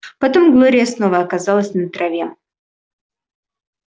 потом глория снова оказалась на траве